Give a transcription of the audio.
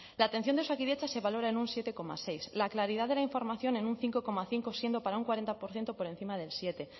la atención de osakidetza se valora en un siete coma seis la claridad de la información en un cinco coma cinco siendo para un cuarenta por ciento por encima del siete